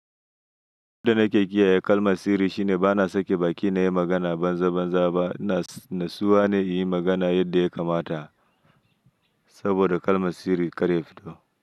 Abunda nake kiyaye kalma sirri shine bana sake baki nayi magana banza banza ba, natsuwa ne in yi magana yadda ya kamata saboda kalma sirri kar ya fito.